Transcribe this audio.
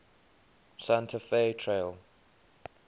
santa fe trail